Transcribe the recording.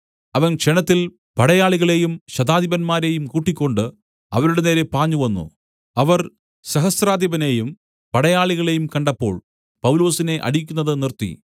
അവൻ ക്ഷണത്തിൽ പടയാളികളെയും ശതാധിപന്മാരെയും കൂട്ടിക്കൊണ്ട് അവരുടെ നേരെ പാഞ്ഞുവന്നു അവർ സഹസ്രാധിപനെയും പടയാളികളെയും കണ്ടപ്പോൾ പൗലൊസിനെ അടിക്കുന്നത് നിർത്തി